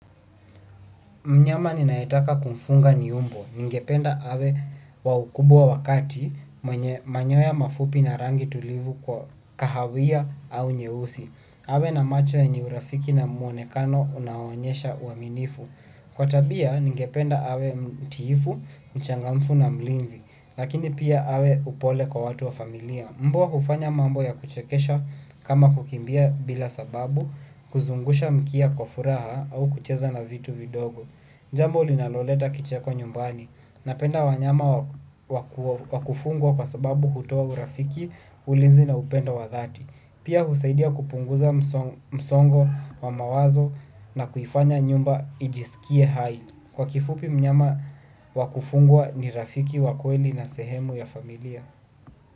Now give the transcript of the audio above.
Mnyama ninayetaka kumfunga ni umbwa. Ningependa awe wa ukubwa wa kati, mwenye manyoya mafupi na rangi tulivu kwa kahawia au nyeusi. Awe na macho yenye urafiki na mwonekano unaoonyesha uaminifu. Kwa tabia, ningependa awe mtiifu, mchangamfu na mlinzi, lakini pia awe upole kwa watu wa familia. Mbwa hufanya mambo ya kuchekesha kama kukimbia bila sababu, kuzungusha mkia kwa furaha au kucheza na vitu vidogo. Jambo linaloleta kicheko nyumbani napenda wanyama wa kufungwa kwa sababu hutoa urafiki ulinzi na upenda wa dhati. Pia husaidia kupunguza msongo wa mawazo na kuifanya nyumba ijisikie hai. Kwa kifupi mnyama wa kufungwa ni rafiki wa kweli na sehemu ya familia.